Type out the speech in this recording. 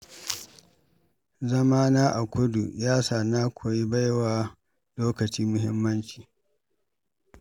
Zamana a kudu ya sa na koyi baiwa lokaci muhimmanci.